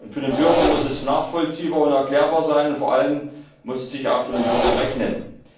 Für den Bürger muss es nachvollziehbar und erklärbar sein, und vor allem muss es sich für den Bürger auch rechnen.